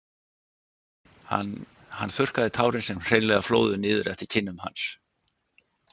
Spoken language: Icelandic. Hann hann þurrkaði tárin sem hreinlega flóðu niður eftir kinnum hans.